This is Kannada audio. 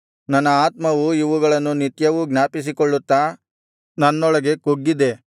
ನನ್ನ ಆತ್ಮವು ಇವುಗಳನ್ನು ನಿತ್ಯವೂ ಜ್ಞಾಪಿಸಿಕೊಳ್ಳುತ್ತಾ ನನ್ನೊಳಗೆ ಕುಗ್ಗಿದೆ